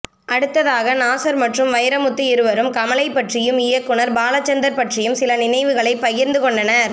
அடுத்தாக நாஸர் மற்றும் வைரமுத்து இருவரும் கமலைப்பற்றியும் இயக்குனர் பாலசந்தர் பற்றியும் சில நினைவுகளை பகிரந்து கொண்டனர்